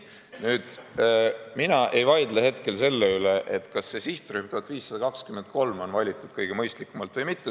Mina ei vaidle hetkel selle üle, kas see sihtrühm, 1523, on valitud kõige mõistlikumalt või mitte.